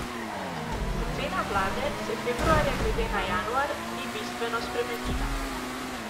Ocena vlade se februarja glede na januar ni bistveno spremenila.